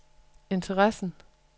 interessen